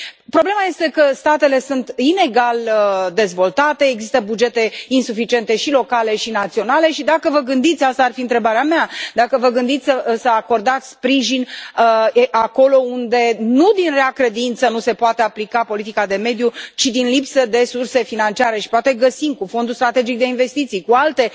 Problema este că statele sunt inegal dezvoltate, există bugete insuficiente, și locale și naționale, și, dacă vă gândiți, asta ar fi întrebarea mea, dacă vă gândiți să acordați sprijin acolo unde nu din rea credință nu se poate aplica politica de mediu, ci din lipsă de resurse financiare și poate găsim cu fondul strategic de investiții, cu alte